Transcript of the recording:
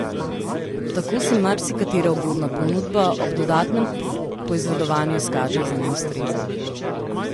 Tako se marsikatera ugodna ponudba ob dodatnem poizvedovanju izkaže za neustrezno.